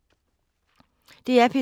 DR P3